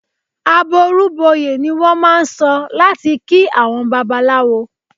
"Àbọrú bọyè" ni wọ́n máà ń sọ láti kí àwọn Babaláwo.